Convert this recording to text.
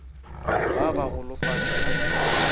ba ba golofatša e sa